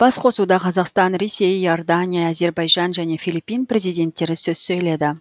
басқосуда қазақстан ресей иордания әзербайжан және филиппин президенттері сөз сөйлейді